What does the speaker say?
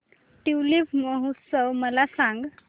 tulip महोत्सव मला सांग